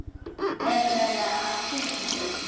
Er verið að athuga mig?